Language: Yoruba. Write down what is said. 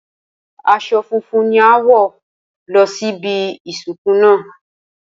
Aso̩ funfun ni a óò wò̩ lo̩ síbi ìsìnkú náà